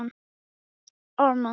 Í stað þess að henda mér öfug